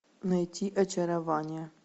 найти очарование